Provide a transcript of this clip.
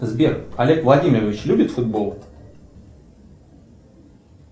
сбер олег владимирович любит футбол